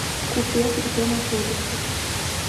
купец где находится